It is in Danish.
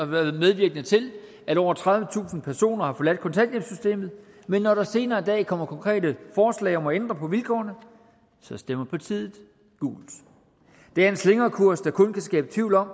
været medvirkende til at over tredivetusind personer har forladt kontanthjælpssystemet men når der senere i dag kommer konkrete forslag om at ændre på vilkårene stemmer partiet gult det er en slingrekurs der kun kan skabe tvivl om